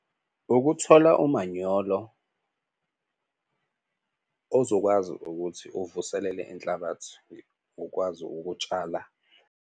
Ukuthola umanyolo ozokwazi ukuthi uvuselele inhlabathi ukwazi ukutshala.